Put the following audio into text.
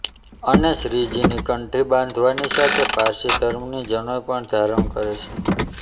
અને શ્રીજીની કંઠી બાંધવાની સાથે પારસી ધર્મની જનોઈ પણ ધારણ કરે છે